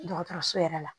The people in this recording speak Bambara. Dɔgɔtɔrɔso yɛrɛ la